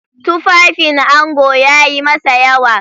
Tufafin ango yayi masa yawa.